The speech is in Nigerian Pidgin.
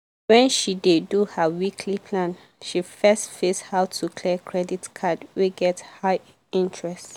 when she dey do her weekly plan she first face how to clear credit card wey get high interest.